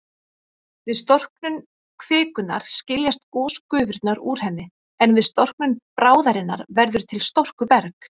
Við storknun kvikunnar skiljast gosgufurnar úr henni, en við storknun bráðarinnar verður til storkuberg.